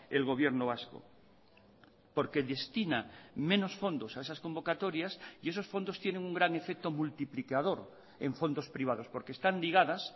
el gobierno vasco porque destina menos fondos a esas convocatorias y esos fondos tienen un gran efecto multiplicador en fondos privados porque están ligadas